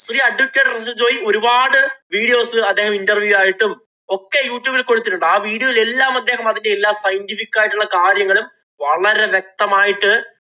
Advocate Russel‍ Joy ഒരുപാട് videos അദ്ദേഹം interview ആയിട്ടും ഒക്കെ യൂട്യുബില്‍ കൊടുത്തിട്ടുണ്ട്. ആ videos യില്‍ എല്ലാം അദ്ദേഹം അതിന്‍റെ എല്ലാ scientific ആയിട്ടുള്ള കാര്യങ്ങളും വളരെ വ്യക്തമായിട്ട്